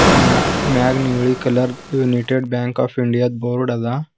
ಮ್ಯಾ ಮ್ಯಾಗ್ ನೀಲಿ colour united bank of India the board ಅದ.